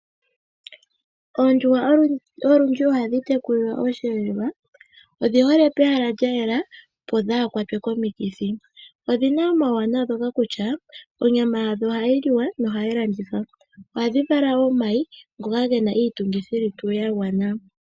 Oondjuhwa olundji ohadhi tekulilwa oshiyeelwa, odhi hole pehala lya yela, opo dhaa kwatwe komikithi. Odhi na omauanawa ngoka kutya onyama yadho ohayi liwa nenge ohayi landithwa, ohadhi vala wo omayi ngoka ge na iitungithilutu ya gwana.